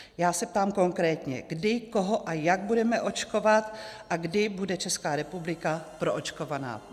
Já se ptám konkrétně, kdy, koho a jak budeme očkovat a kdy bude Česká republika proočkovaná.